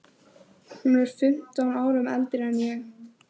Hún er fimmtán árum eldri en ég.